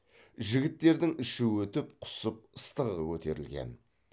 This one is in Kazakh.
жігіттердің іші өтіп құсып ыстығы көтерілген